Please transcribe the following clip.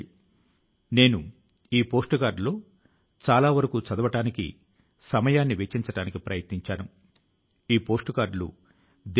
ఈ ఉత్తరాన్ని చదివాక నా మది లో మెదిలిన మొదటి ఆలోచన ఏమిటంటే విజయ శిఖరాల ను అధిరోహించినా ఆయన తన మూలాల ను మరచిపోలేదనేది